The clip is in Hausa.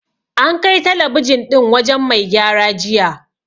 An kai talabijin ɗin wajen mai gyara jiya.